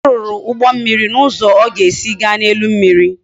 A ruru ugbo mmiri na uzo o ga esi ga na elu mmiri